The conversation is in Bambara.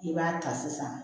I b'a ta sisan